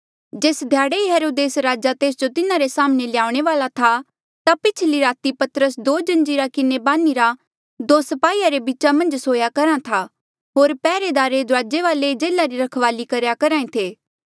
जेस ध्याड़े हेरोदेस राजा तेस जो तिन्हारे साम्हणें ल्याऊणे वाल्आ था ता पिछली राती पतरस दो जंजीरा किन्हें बान्हिरा दो स्पाहीया रे बीचा मन्झ सोया करहा था होर पैहरेदार दुराजे वाले जेल्हा री रखवाली करेया करहा ऐें थे